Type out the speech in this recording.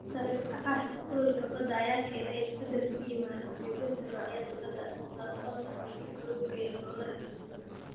Sare u kaca heerkulka badda ayaa keenaya isbeddel ku yimaada qaybinta noocyada badda, taas oo saamaysa kalluunka iyo noolaha kala duwan.